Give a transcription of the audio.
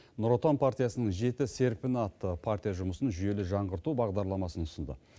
нұр отан партиясының жеті серпіні атты партия жұмысын жүйелі жаңғырту бағдарламасын ұсынды